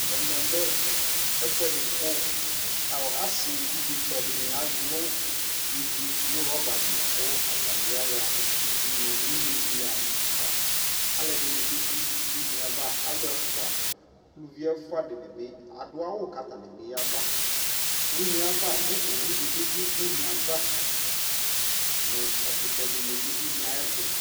Ɛmɛ lɛ ɛfuɛ di ku asi evidze tsɔ dini alu ivi nu rɔba li ku atani ya ɣa udunu nu ne di ya vaAluɛ dini bi du une avaAlu ɛfua, aluvi di bi adu awu kata bi ya baUne ava mɛ owu di bi du une ava nu ɛkutɛ di ni bi du une ayɛ tu